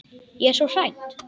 Ég er svo hrædd.